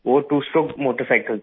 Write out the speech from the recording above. वो two stroke motorcycle था